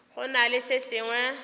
go na le se sengwe